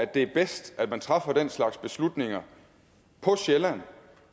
det er bedst at man træffer den slags beslutninger på sjælland